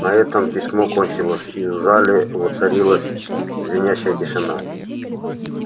на этом письмо кончилось и в зале воцарилась звенящая тишина